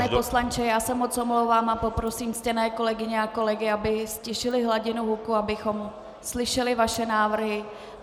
Pane poslanče, já se moc omlouvám a poprosím ctěné kolegyně a kolegyně, aby ztišili hladinu hluku, abychom slyšeli vaše návrhy.